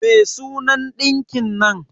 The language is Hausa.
Me sunan ɗinkin nan?